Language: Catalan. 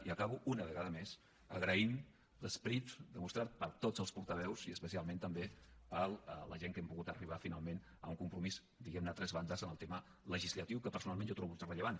i acabo una vegada més agraint l’esperit demostrat per tots els portaveus i especialment també per la gent amb què hem pogut arribar finalment a un compromís diguem ne a tres bandes en el tema legislatiu que personalment jo trobo ultrarellevant